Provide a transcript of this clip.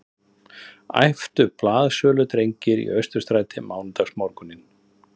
æptu blaðsöludrengir í Austurstræti mánudagsmorguninn